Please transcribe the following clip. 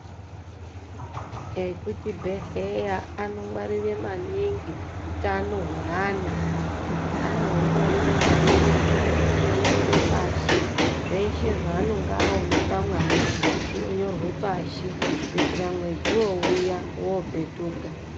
Eku chibhedhleya ano ngwarire maningi utano hweana, ano hungwarire maningi, umweni eyi nyora pashi zveshe zvaanonga awona pamwana zvino nyorwa pashi, kuyitira mwedzi wouya wopetuka.